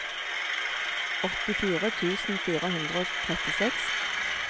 åttifire tusen fire hundre og trettiseks